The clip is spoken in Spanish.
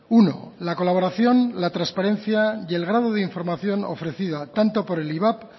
uno la colaboración la transparencia y el grado de información ofrecida tanto por el ivap